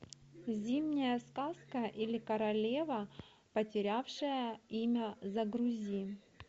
зимняя сказка или королева потерявшая имя загрузи